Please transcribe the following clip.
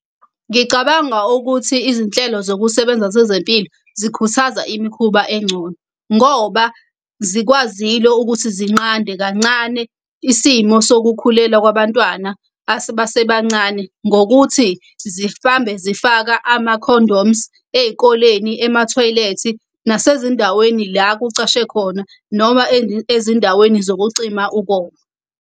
Ngicabanga ukuthi izinhlelo zokusebenza zezempilo zikhuthaza imikhuba engcono. Ngoba zikwazile ukuthi zinqande kancane isimo sokukhulelwa kwabantwana basebancane ngokuthi zifambe zifaka ama-condoms ey'koleni, emathoyilethi, nasezindaweni la kucashe khona, noma ezindaweni zokucima ukoma.